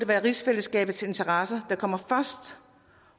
være rigsfællesskabets interesser der kommer først